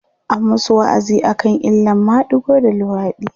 an masu wa'azi akan illan madigo da luwaɗi